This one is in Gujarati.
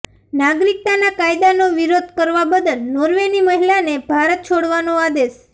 નાગરિકતાના કાયદાનો વિરોધ કરવા બદલ નોર્વેની મહિલાને ભારત છોડવાનો આદેશ